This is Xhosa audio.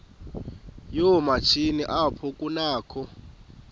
yoomatshini apho kunakho